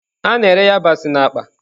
A na-ere yabasị na akpa.